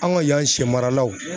An ka yan siyɛ maralaw.